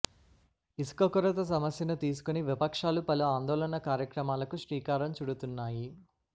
ఇసుక కొరత సమస్యను తీసుకొని విపక్షాలు పలు ఆందోళన కార్యక్రమాలకు శ్రీకారం చుడుతున్నాయి